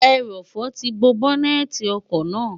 ẹrọ̀fọ̀ ti bo bọ́́nẹ́ẹ̀ti ọkọ̀ náà